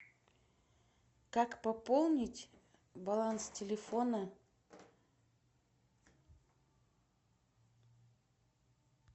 как пополнить баланс телефона